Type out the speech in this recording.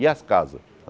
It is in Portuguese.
E as casas?